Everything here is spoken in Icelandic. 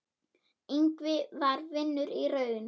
Ingvi var vinur í raun.